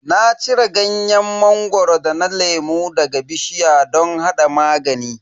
Na cire ganyen mangoro da na lemu daga bishiya don hada magani.